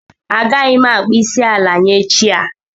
Agaghị m akpọ isi ala nye chi a